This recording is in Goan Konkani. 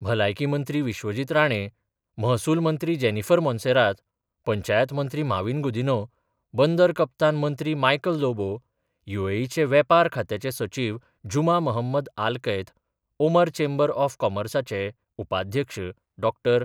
भलायकी मंत्री विश्वजीत राणे, महसूल मंत्री जेनीफर मोंसेरात, पंचायत मंत्री मॉवीन गुदिन्य, बंदर कप्तान मंत्री मायकल लोबो युएईचे वेपार खात्याचे सचीव Juma Mohammed Alkait, Oman chamber of कॉमर्साचे उपाध्यक्ष डॉक्टर.